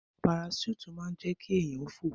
Paraṣúùtì máa ń jẹ́ kí èèyàn fò